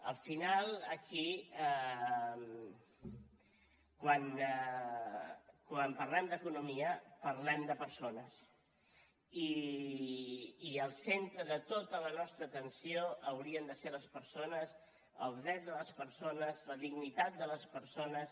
al final aquí quan parlem d’economia parlem de persones i el centre de tota la nostra atenció haurien de ser les persones els drets de les persones la dignitat de les persones